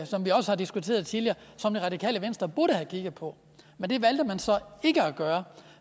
som vi også har diskuteret tidligere som det radikale venstre burde have kigget på men det valgte man så ikke at gøre